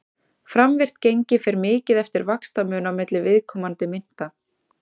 Framvirkt gengi fer mikið eftir vaxtamun á milli viðkomandi mynta.